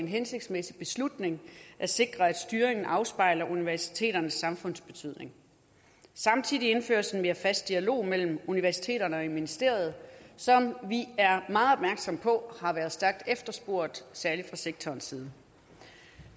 hensigtsmæssig beslutning at sikre at styringen afspejler universiteternes samfundsbetydning samtidig indføres en mere fast dialog mellem universiteterne og ministeriet som vi er meget opmærksomme på har været stærkt efterspurgt særlig fra sektorens side